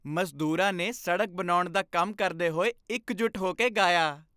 ਮਜ਼ਦੂਰਾਂ ਨੇ ਸੜਕ ਬਣਾਉਣ ਦਾ ਕੰਮ ਕਰਦੇ ਹੋਏ ਇਕਜੁੱਟ ਹੋ ਕੇ ਗਾਇਆ।